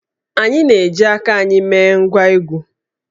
Anyị na-eji aka anyị mee ngwá egwú